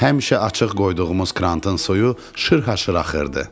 Həmişə açıq qoyduğumuz krantın suyu şırhaşır axırdı.